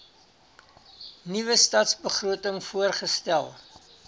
nuwe stadsbegroting voorgestel